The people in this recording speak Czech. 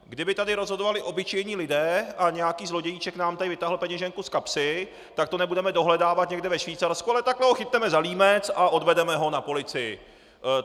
Kdyby tady rozhodovali obyčejní lidé a nějaký zlodějíček nám tady vytáhl peněženku z kapsy, tak to nebudeme dohledávat někde ve Švýcarsku, ale takhle ho chytneme za límec a odvedeme ho na policii.